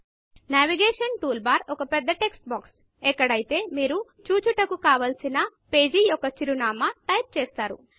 navigation bar ఒక పెద్ద text box ఎక్కడైతే మీరు చూచుటకు కావలసిన పేజీ యొక్క చిరునామా టైప్ చేస్తారు